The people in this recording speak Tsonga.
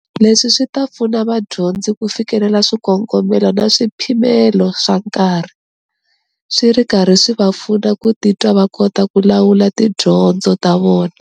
Leswi swi ta pfuna vadyondzi ku fikelela swikongomelo na swipimelo swa nkarhi, swi ri karhi swi va pfuna ku titwa va kota ku lawula tidyondzo ta vona.